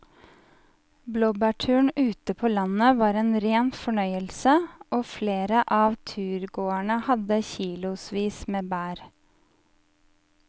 Blåbærturen ute på landet var en rein fornøyelse og flere av turgåerene hadde kilosvis med bær.